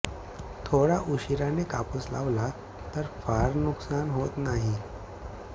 थोडा उशिराने कापूस लावला तर फार नुकसान होत नाही